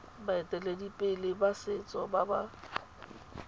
baeteledipele ba setso ba ba